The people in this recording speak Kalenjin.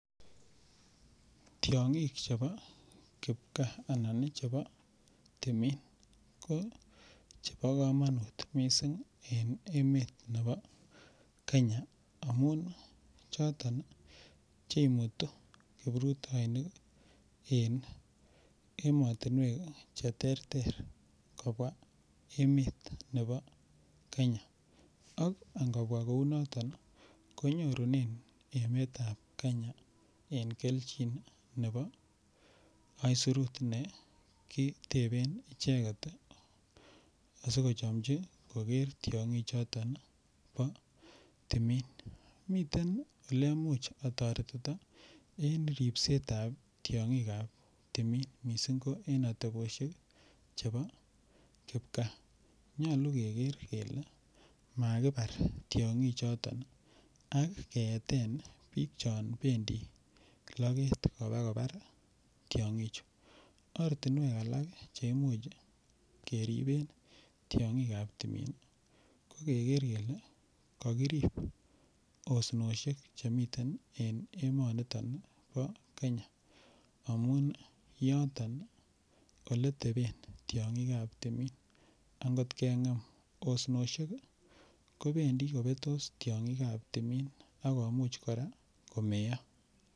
Tiongik chebo kipkaa anan chebo timin chebo komonut missing en emet nebo kenya amun choton ii che imutu kiprutoinik en emotinwek che terter kobwaa emet nebo kenya ak angobwaa kouu noton konyorunen emetab kenya kelchin nebo aisirut nekiteben icheget asikochomji koger tiongik choton chebo timin, miten ele muche otoretito en ribsetab tiongikab timin missing ko en ateboshek chebo kipkaa. Nyoluu keger kele makibar tiongik choton ak keeten biik chon bendii loget kobaa kobar tiongichu, ortinwek alak chemuch keriben tiongikab timin ko keger kelee kokirib osnoshek chemiten en emoniton bo Kenya amun yoton ole teben tiongikab timin, angot kengem osnoshek kobendi kobestos tiongikab timin ak komuch koraa komeyo